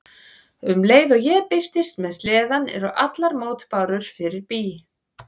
Um leið og ég birtist með sleðann eru allar mótbárur fyrir bí.